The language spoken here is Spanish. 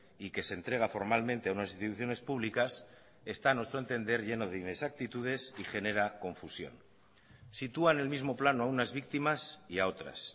y que se entrega formalmente a unas instituciones públicas está a nuestro entender lleno de inexactitudes y genera confusión sitúa en el mismo plano a unas víctimas y a otras